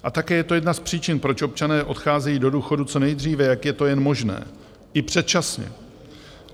A také je to jedna z příčin, proč občané odcházejí do důchodu co nejdříve, jak je to jen možné, i předčasně.